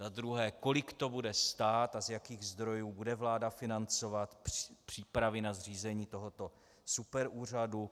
Za druhé, kolik to bude stát a z jakých zdrojů bude vláda financovat přípravy na zřízení tohoto superúřadu?